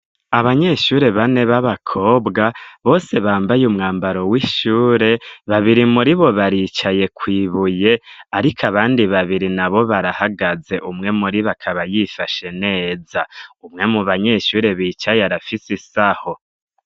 Abanyeshure bane b'abakobwa bose bambaye umwambaro w'ishure, babiri muribo baricaye kw'ibuye ariko abandi babiri nabo barahagaze, umwe muribo akaba yifashe neza, umwe mu banyeshure bicaye arafise isaho.